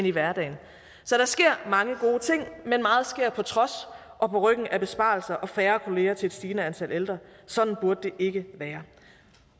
i hverdagen så der sker mange gode ting men meget sker på trods og på ryggen af besparelser og færre kolleger til et stigende antal ældre sådan burde det ikke være